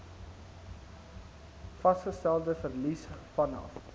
vasgestelde verlies vanaf